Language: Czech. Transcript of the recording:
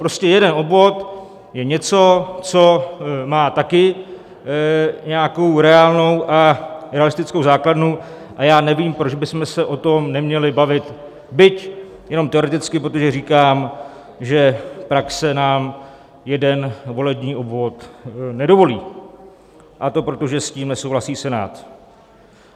Prostě jeden obvod je něco, co má také nějakou reálnou a realistickou základnu, a já nevím, proč bychom se o tom neměli bavit, byť jenom teoreticky, protože říkám, že praxe nám jeden volební obvod nedovolí, a to proto, že s tím nesouhlasí Senát.